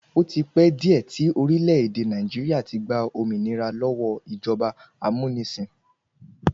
Ó ti pẹ́ díẹ̀ tí orílẹ̀-èdè Nàìjíríà ti gba òmìnira lọ́wọ́ ìjọba amúnisìn.